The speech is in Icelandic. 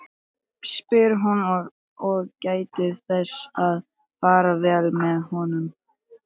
spyr hún og gætir þess að fara vel að honum.